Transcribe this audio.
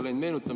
Aitäh!